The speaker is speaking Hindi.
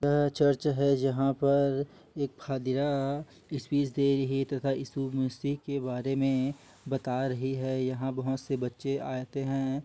यह चर्च हैं जहा पर एक फदिरा की स्पीच दे रही तथा इस के बारे मे बता रही है। यहा बोहोत से बच्चे आते है।